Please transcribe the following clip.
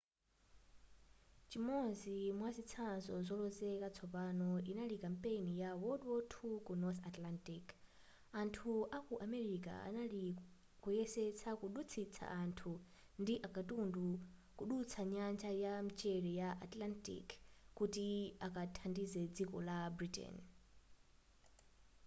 chimodzi mwazitsanzo zolozeka zatsopano inali kampeni ya wwii ku north atlantic anthu aku amerika anali kuyesesa kudutsitsa anthu ndi akatundu kudutsa nyanja ya mchere ya atlantic kuti akathandize dziko la britain